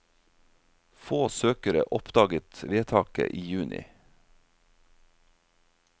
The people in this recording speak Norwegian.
Få søkere oppdaget vedtaket i juni.